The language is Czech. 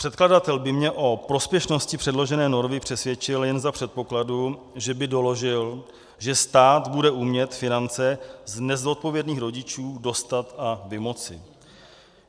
Předkladatel by mě o prospěšnosti předložené normy přesvědčil jen za předpokladu, že by doložil, že stát bude umět finance z nezodpovědných rodičů dostat a vymoci.